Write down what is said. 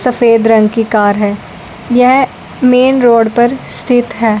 सफेद रंग की कार है यह मेन रोड पर स्थित है।